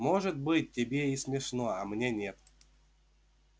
может быть тебе и смешно а мне нет